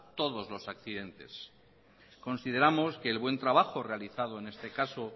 todos los accidentes consideramos que el buen trabajo realizado en este caso